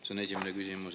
See on esimene küsimus.